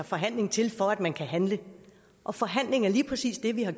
forhandling til for at man kan handle og forhandling er lige præcis det vi har